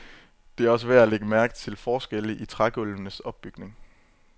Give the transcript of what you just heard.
Det er også værd at lægge mærke til forskelle i trægulvenes opbygning.